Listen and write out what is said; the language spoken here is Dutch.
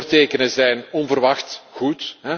De voortekenen zijn onverwacht goed.